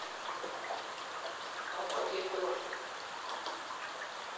Ga kwo chi tukul.